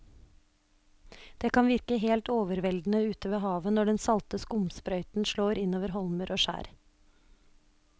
Det kan virke helt overveldende ute ved havet når den salte skumsprøyten slår innover holmer og skjær.